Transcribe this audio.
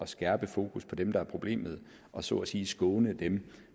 skærpet fokus på dem der er problemet og så at sige skåne dem